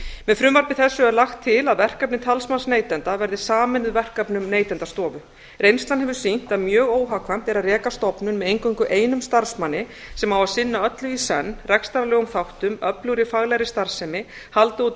með frumvarpi þessu er lagt til að verkefni talsmanns neytenda verði sameinuð verkefnum neytendastofu reynslan hefur sýnt að mjög óhagkvæmt er að reka stofnun með eingöngu einum starfsmanni sem á að sinna öllu í senn rekstrarlegum þáttum öflugri faglegri starfsemi halda úti